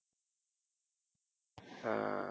அஹ்